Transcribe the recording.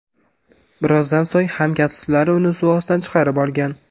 Birozdan so‘ng hamkasblari uni suv ostidan chiqarib olgan.